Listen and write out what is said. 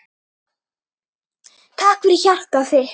Takk fyrir hjartað þitt.